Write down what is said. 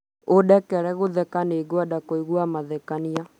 ũndekere gũtheka nigwenda kũigua mathekania